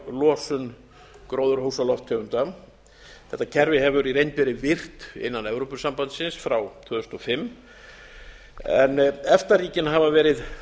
losun gróðurhúsalofttegunda þetta kerfi hefur í reynd verið virkt innan evrópusambandsins frá tvö þúsund og fimm en efta ríkin hafa verið